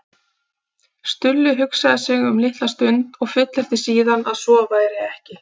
Stulli hugsaði sig um litla stund og fullyrti síðan að svo væri ekki.